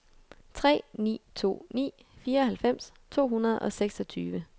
tre ni to ni fireoghalvfems to hundrede og seksogtyve